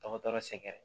Dɔgɔtɔrɔ sɛgɛrɛ